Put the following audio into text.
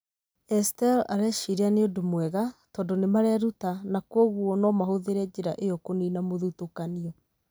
Estelle oigire atĩ areciria nĩ ũndũ mwega, tondũ nĩ mareruta, na kwoguo no mahũthĩre njĩra ĩyo kũniina mũthutũkanio.